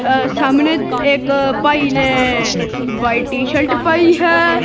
ਅ ਸਾਹਮਣੇ ਇੱਕ ਭਾਈ ਨੇ ਵਾਈਟ ਟੀ ਸ਼ਲਟ ਪਾਈ ਹੈ।